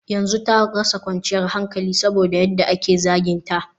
yanzu ta rasa kwanciyar hankali saboda yadda ake zaginta